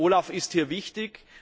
OLAF ist hier wichtig.